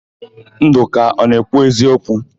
Ndụka ọ na-ekwu eziokwu?